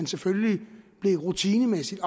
selvfølgelig rutinemæssigt